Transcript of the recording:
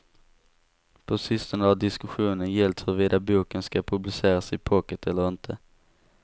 På sistone har diskussionen gällt huruvida boken ska publiceras i pocket eller inte.